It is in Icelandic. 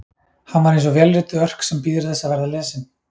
Hann var eins og vélrituð örk sem bíður þess að verða lesin.